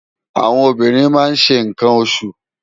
Áwòn óbìrín má n ṣé nkán óṣú